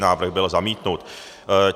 Návrh byl zamítnut.